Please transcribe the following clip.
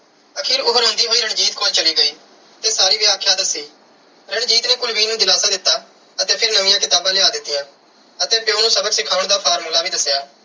ਆਖਿਰ ਉਹ ਰੋਂਦੀ ਹੋਈ ਰਣਜੀਤ ਕੋਲ ਚਲੀ ਗਈ ਤੇ ਸਾਰੀ ਵਿਆਖਿਆ ਦੱਸੀ। ਰਣਜੀਤ ਨੇ ਕੁਲਵੀਰ ਨੂੰ ਦਿਲਾਸਾ ਦਿੱਤਾ ਅਤੇ ਫਿਰ ਨਵੀਆਂ ਕਿਤਾਬਾਂ ਲਿਆ ਦਿੱਤੀਆਂਂ ਅਤੇ ਪਿਉ ਨੂੰ ਸਬਕ ਸਿਖਾਉਣ ਦਾ formula ਵੀ ਦੱਸਿਆ।